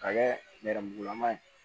Ka kɛ nɛrɛmugulaman ye